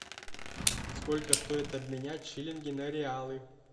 сколько стоит обменять шиллинги на реалы